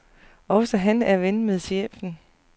Også han er ven med chefen.